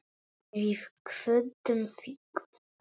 Við kvöddum þig.